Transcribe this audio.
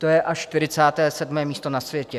To je až 47. místo na světě.